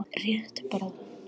Rétt bráðum.